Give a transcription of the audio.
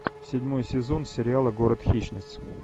седьмой сезон сериала город хищниц